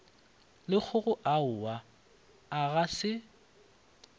lekgokgo aowa a ga se